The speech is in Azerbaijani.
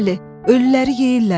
Bəli, ölüləri yeyirlər.